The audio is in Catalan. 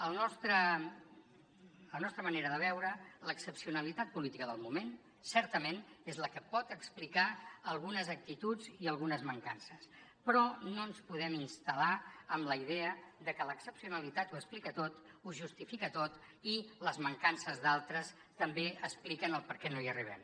a la nostra manera de veure l’excepcionalitat política del moment certament és la que pot explicar algunes actituds i algunes mancances però no ens podem installar en la idea de que l’excepcionalitat ho explica tot ho justifica tot i les mancances d’altres també expliquen el perquè no hi arribem